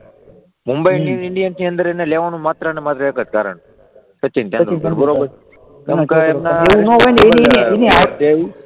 મુંબઈ ઇન્ડિયનસની ટીમમાં લેવાનું માત્ર ને માત્ર એક કારણ સચિન તેંડુલકર બરાબર એની